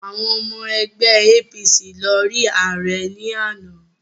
Àwọn ọmọ ẹgbẹ́ APC lọ rí ààrẹ ní àná